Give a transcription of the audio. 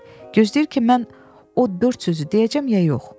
Gözləyir ki, mən o dörd sözü deyəcəm ya yox.